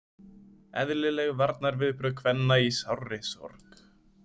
Eðlileg varnarviðbrögð kvenna í sárri sorg.